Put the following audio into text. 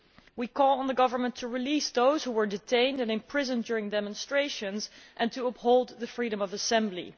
We call on the government to release those who were detained and imprisoned during demonstrations and to uphold the freedom of assembly.